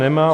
Nemá.